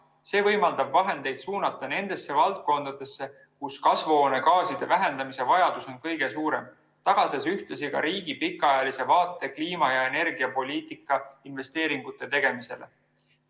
See võimaldab vahendeid suunata nendesse valdkondadesse, kus kasvuhoonegaaside vähendamise vajadus on kõige suurem, tagades ühtlasi ka riigi pikaajalise vaate kliima- ja energiapoliitika investeeringute tegemisele.